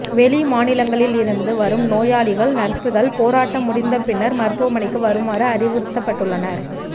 வெளிமாநிலங்களில் இருந்து வரும் நோயாளிகள் நர்சுகள் போராட்டம் முடிந்த பின்னர் மருத்துவமனைக்கு வருமாறு அறிவுறுத்தப்பட்டுள்ளனர்